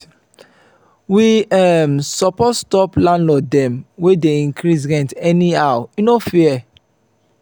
we um suppose stop landlord dem wey dey increase rent anyhow e no fair.